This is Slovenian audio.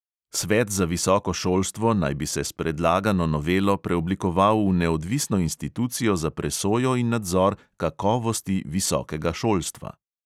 Svet za visoko šolstvo naj bi se s predlagano novelo preoblikoval v neodvisno institucijo za presojo in nadzor kakovosti visokega šolstva.